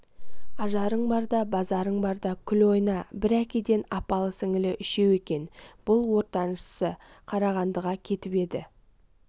ажарың барда базарың барда күл ойна бір әкеден апалы-сіңілі үшеуі екен бұл ортаншысы қарағандыға кетіп еді